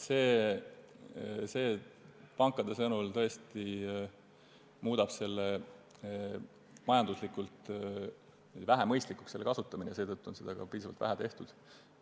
See muudab pankade sõnul selle kasutamise majanduslikult vähemõistlikuks, mistõttu on seda ka üsna vähe tehtud.